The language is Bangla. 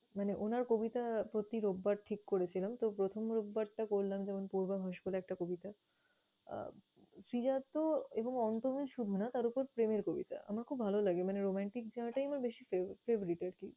মানে উনার কবিতা প্রতি রোববার ঠিক করেছিলাম। তো, প্রথম রোববারটা করলাম যেমন পূর্বাভাস বলে একটা কবিতা। আহ শ্রীজাত এবং অন্ত্যমিল শুধু না তার উপর প্রেমের কবিতা। আমার খুব লাগে মানে romantic zone টাই আমার বেশি fav~favourite আরকি।